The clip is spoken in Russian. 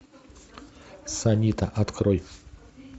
санита открой